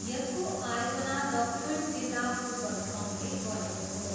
यसको आयोजना दक्षिण जिल्ला फुटबल सङ्घले गरेको हो।